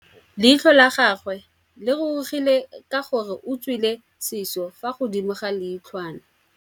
Leitlhô la gagwe le rurugile ka gore o tswile sisô fa godimo ga leitlhwana.